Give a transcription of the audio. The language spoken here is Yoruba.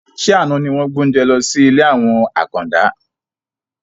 Ṣé àna ni wọn gbé oúnjẹ lọ sí ilé àwọn àkàndá?